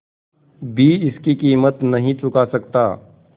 भी इसकी कीमत नहीं चुका सकता